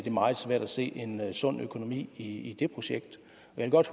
er meget svært at se en sund økonomi i i jeg vil godt